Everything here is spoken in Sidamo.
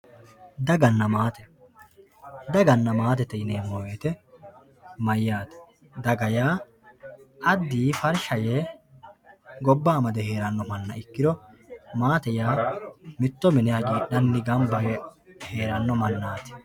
Daganna maatte, daganna maattette yineemo woyite mayate, daga yaa adiyi farisha yee gobba amade heeranno manna ikkiro, maatte yaa mito mine hagidhanni gamba yee heerano manati